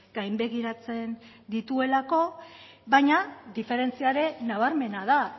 gainbegiratzen dituelako baina diferentzia ere nabarmena da